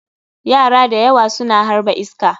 Yara da yawa suna harba iska.